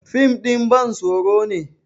fim ɗin bantsoro ne